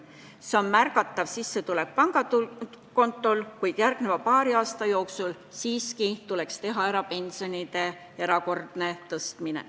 See on märgatav sissetulek pangakontol, kuid järgmise paari aasta jooksul tuleks siiski teha ära pensionide erakordne tõstmine.